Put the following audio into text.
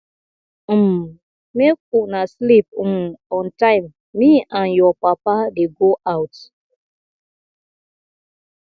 um make una sleep um on time me and your papa dey go out